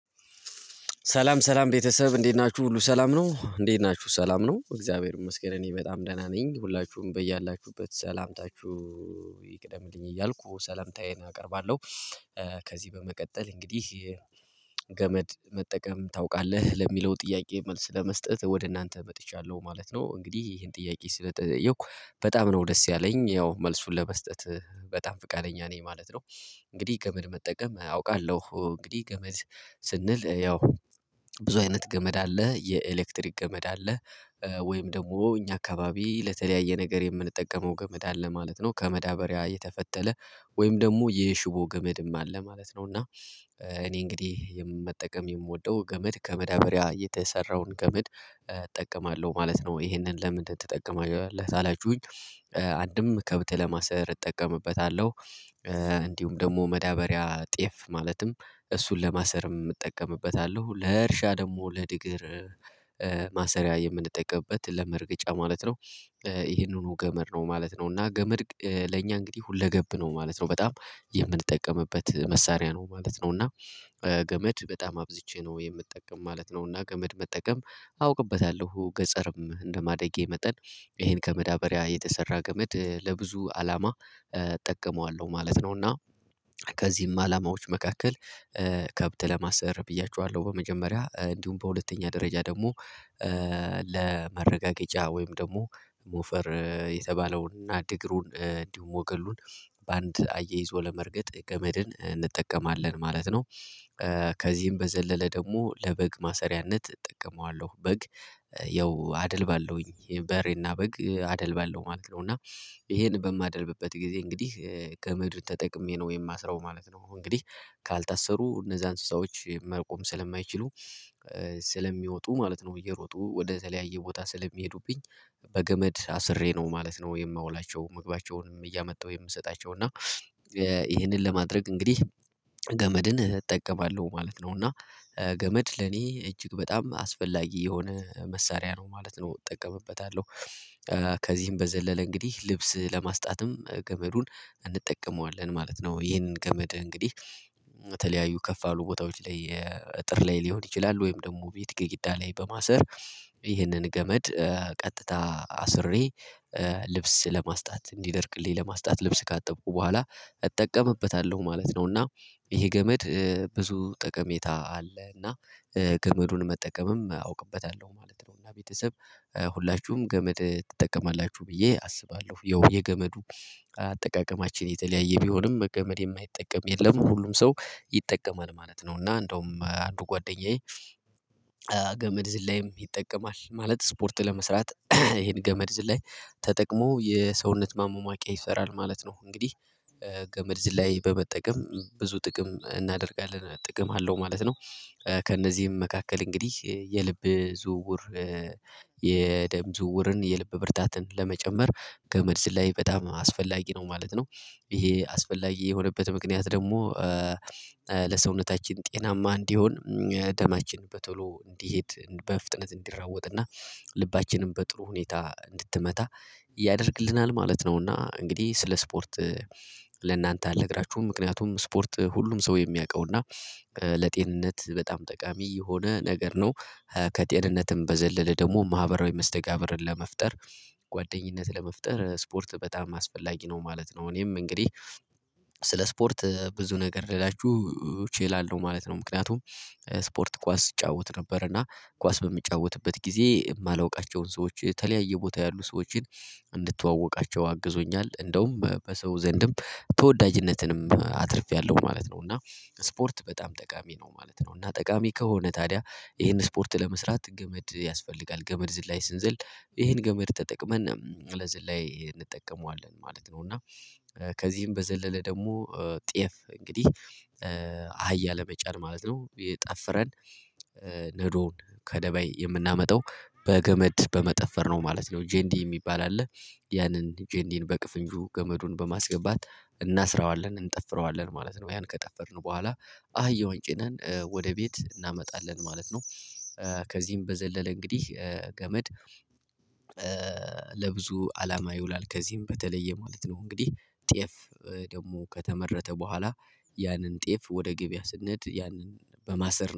ሰላም ሰላም ቤተሰብ እንዴት ናችሁ ሁሉ ሰላም ነው እንዴት ናችሁ ሰላም ነው እግዚአብሔር ይመስገን እኔ በጣም ደህና ነኝ ሁላችሁም በያላችሁበት ሰላምታችሁ ይቅደምልኝ እያልኩ ሰላምታዬን አቀርባለሁ። ከዚህ በመቀጠል እንግዲህ ገመድ መጠቀም ታውቃለህ ለሚለው ጥያቄ መልስ ለመስጠት ወደ እናንተ መጥቻለሁ ማለት ነው። እንግዲህ ይሄን ጥያቄ ስለተጠየኩ በጣም ነው ደስ ያለኝ ያው መልሱን ለመስጠት በጣም ፈቃደኛ ነኝ ማለት ነው። እንግዲህ ገመድ መጠቀም አውቃለሁ እንግዲህ ገመድ ስንል ያው ብዙ አይነት ገመድ አለ የኤሌክትሪክ ገመድ አለ ወይም ደግሞ እኛ አካባቢ ለተለያየ ነገር የምንጠቀመው ገመድ አለ ማለት ነው። ከመዳበሪያ የተፈተለ ወይም ደግሞ የሽቦ ገመድም አለ ማለት ነው። እና እኔ እንግዲህ መጠቀም የምወደው ገመድ ከመዳበሪያ የተሰራውን ገመድ እጠቀማለሁ ማለት ነው። ይሄንን ለምን ትጠቀማለህ ታላችሁኝ? አንድም ከብት ለማሰር እጠቀምበታለሁ። እንዲሁም ደግሞ መዳበሪያ ጤፍ ማለትም እሱን ለማሰርም እጠቀምበታለሁ ለእርሻ ደግሞ ለድግር ማሰሪያ የምንጠቀምበት ለመርገጫ ማለት ነው። ይሄንኑ ገመድ ነው ማለት ነው እና ገመድ ለእኛ እንግዲህ ሁለገብ ነው ማለት ነው። በጣም የምንጠቀምበት መሳሪያ ነው ማለት ነው እና ገመድ በጣም አብዝቼ ነው የምጠቀም ማለት ነው። እና ገመድ መጠቀም አውቅበታለሁ ገጸርም እንደማደጌ መጠን ይሄን ከመዳበሪያ የተሰራ ገመድ ለብዙ አላማ እጠቀመዋለሁ ማለት ነው። እና ከዚህም አላማዎች መካከል ከብት ለማሰር ብያችዋለሁ በመጀመሪያ እንዲሁም በሁለተኛ ደረጃ ደግሞ ለመረጋገጫ ወይም ደግሞ ሞፈር የተባለውን እና ድግሩን እንዲሁም ሞገሉን በአንድ አያይዞ ለመርገጥ ገመድን እንጠቀማለን ማለት ነው። ከዚህም በዘለለ ደግሞ ለበግ ማሰሪያነት እጠቀመዋለሁ በግ ያው አደልባለውኝ በሬ እና በግ አደልባለው ማለት ነው። እና ይሄን በማደልብበት ጊዜ እንግዲህ ገመዱን ተጠቅሜ ነው የማስረው ማለት ነው። እንግዲህ ካልታሰሩ እነዛን ሰዎች መቆም ስለማይችሉ ስለሚወጡ ማለት ነው እየሮጡ ወደተለያየ ቦታ ስለሚሄዱብኝ በገመድ አስሬ ነው ማለት ነው። የማውላቸው ምግባቸውንም እያመጣው የምሰጣቸው እና ይሄንን ለማድረግ እንግዲህ ገመድን እጠቀማለሁ ማለት ነው። እና ገመድ ለኔ እጅግ በጣም አስፈላጊ የሆነ መሳሪያ ነው ማለት ነው። እጠቀምበታለሁ ከዚህም በዘለለ እንግዲህ ልብስ ለማስጣትም ገመዱን እንጠቀመዋለን ማለት ነው ይሄን ገመድ እንግዲህ በተለያዩ ከፍ ያሉ ቦታዎች ላይ እጥር ላይ ሊሆን ይችላል ወይም ደግሞ ቤት ግድግዳ ላይ በማሰር ይህንን ገመድ ቀጥታ አስሬ ልብስ ለማስጣት እንዲደርቅልኝ ለማስጣት ልብስ ካጠብኩ በኋላ እጠቀምበታለሁ ማለት ነው። እና ይሄ ገመድ ብዙ ጠቀሜታ አለ እና ገመዱን መጠቀምም አውቅበታለሁ ማለት ነው። እና ቤተሰብ ሁላችሁም ገመድ ትጠቀማላችሁ ብዬ አስባለሁ ያው የገመዱ አጠቃቀማችን የተለያየ ቢሆንም በገመድ የማይጠቀም የለም ሁሉም ሰው ይጠቀማል ማለት ነው። እና እንደውም አንዱ ጓደኛዬ ገመድ ዝላይም ይጠቀማል ማለት ስፖርት ለመስራት ይሄን ገመድ ዝላይ ተጠቅሞ የሰውነት ማሟሟቂያ ይሰራል ማለት ነው። እንግዲህ ገመድ ዝላይ በመጠቀም ብዙ ጥቅም እናደርጋለን ጥቅም አለው ማለት ነው። ከእነዚህም መካከል እንግዲህ የልብ ዝውውር የደም ዝውውርን የልብ ብርታትን ለመጨመር ገመድ ዝላይ በጣም አስፈላጊ ነው ማለት ነው። ይሄ አስፈላጊ የሆነበት ምክንያት ደግሞ ለሰውነታችን ጤናማ እንዲሆን ደማችን በቶሎ እንዲሄድ በፍጥነት እንዲሯወጥ እና ልባችንም በጥሩ ሁኔታ እንድትመታ ያደርግልናል ማለት ነው። እና እንግዲህ ስለ ስፖርት ለእናንተ አልነግራችሁም ምክንያቱም ስፖርት ሁሉም ሰው የሚያውቀው እና ለጤንነት በጣም ጠቃሚ የሆነ ነገር ነው። ከጤንነትም በዘለለ ደግሞ ማህበራዊ መስተጋብርን ለመፍጠር ጓደኝነት ለመፍጠር ስፖርት በጣም አስፈላጊ ነው ማለት ነው። እኔም እንግዲህ ስለ ስፖርት ብዙ ነገር ልላችሁ እችላለሁ ማለት ነው። ምክንያቱም ስፖርት ኳስ እጫወት ነበር እና ኳስ በምጫወትበት ጊዜ የማላውቃቸውን ሰዎች የተለያየ ቦታ ያሉ ሰዎችን እንድተዋወቃቸው አግዞኛል እንደውም በሰው ዘንድም ተወዳጅነትንም አትርፌያለሁ ማለት ነው። እና ስፖርት በጣም ጠቃሚ ነው ማለት ነው። እና ጠቃሚ ከሆነ ታዲያ ይሄን ስፖርት ለመስራት ገመድ ያስፈልጋል ገመድ ዝላይ ስንዝል ይሄን ገመድ ተጠቅመን ለዝላይ እንጠቀመዋለን ማለት ነው። እና ከዚህም በዘለለ ደግሞ ጤፍ እንግዲህ አህያ ለመጫን ማለት ነው የጣፍረን ነዶ ከደባይ የምናመጣው በገመድ በመጠፈር ነው ማለት ነው። ጄንዲ የሚባል አለ ያንን ጄንዲን በቅፍንጁ ገመዱን በማስገባት እናስረዋለን እንጠፍረዋለን ማለት ነው። ያን ከጠፈርን በኋላ አህያውን ጭነን ወደ ቤት እናመጣለን ማለት ነው። ከዚህም በዘለለ እንግዲህ ገመድ ለብዙ አላማ ይውላል ከዚህም በተለየ ማለት ነው እንግዲህ ጤፍ ደግሞ ከተመረተ በኋላ ያንን ጤፍ ወደ ገበያ ስንሄድ ያንን በማሰር